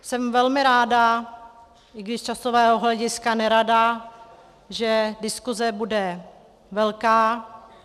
Jsem velmi ráda, i když z časového hlediska nerada, že diskuse bude velká.